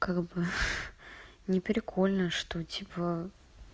не прикольно что типа